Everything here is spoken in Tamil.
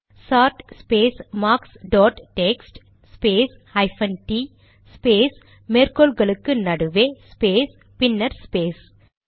chart space marks dot text space hyphen t space மேற்கோள் குறிகளுக்கு நடுவே ஸ்பேஸ் பின்னர் ஸ்பேஸ்